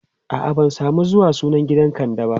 a'a ban samu zuwa sunan gidan kande ba